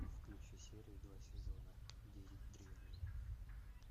включи серию два сезона девять древние